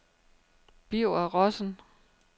Birger Rossen